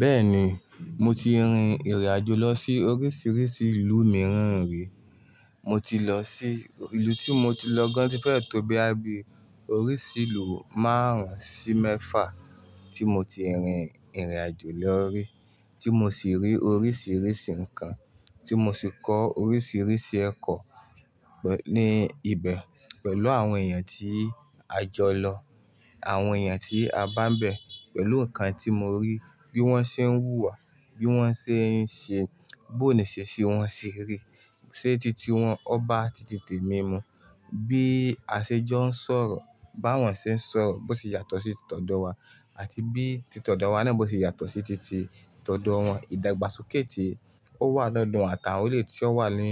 Bẹ́ẹ̀ni, mo ti rin ìrìn àjò lọ sí oríṣìíríṣìí ìlú mìíràn rí. Mo ti lọ sí, ìlú tí mo ti lọ gan ti fẹ́ tó boya bí oríṣi ìlú márùn-ún sí mẹ́fà tí mo ti rin ìrìn àjò lọ rí. Tí mo sì rí oríṣìíríṣìí nǹkan, tí mo sì kọ́ oríṣìíríṣìí ẹ̀kọ́ ní ibẹ̀ pẹ̀lú àwọn èèyàn tí a jọ lọ, àwọn èèyàn tí a bá ń bẹ̀ pẹ̀lú nǹkan tí mo rí, bí wọ́n ṣe ń hùwà, bí wọ́n ṣe ń ṣe, bó ní iṣesi wọ́n ṣe rí, ṣé titi wọn ọ ba títì temi mu, bí aṣejọ́ ń sọ̀rọ̀, bá wọn ṣe ń sọ̀rọ̀ bó ṣe yàtọ̀ sí tìtọ̀ ọ̀dọ̀ wa àti bí tì t'ọ̀ọ̀dọ̀ wa náà bó ṣe yàtọ̀ sí titi tì t'ọ̀ọ̀dọ̀ wọn, ìdàgbàsókè tí ó wà lọ́dọ̀ wọn, àtàwọn eleyi tí ó wà ní